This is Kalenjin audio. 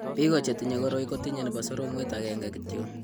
Biko chetinye koroi ko tinye nebo soromwet agenge kityo.